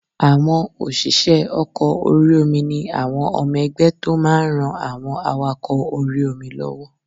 Àwọn òṣìṣẹ́ ọkọ̀ orí-omi ni àwọn ọmọ ẹgbẹ́ tó máa n ran àwọn awakọ̀ orí-omi lọ́wọ́